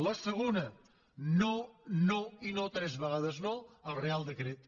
la segona no no i no tres vegades no al reial decret